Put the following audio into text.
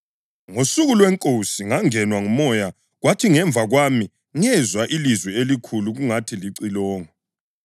NgoSuku lweNkosi ngangenwa nguMoya kwathi ngemva kwami ngezwa ilizwi elikhulu kungathi licilongo,